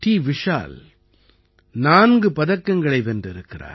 விஷால் நான்கு பதக்கங்களை வென்றிருக்கிறார்